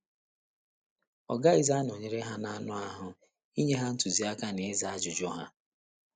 Ọ gaghịzi anọnyere ha n’anụ ahụ́ inye ha ntụziaka na ịza ajụjụ ha.